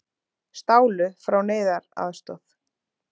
Stálu frá neyðaraðstoð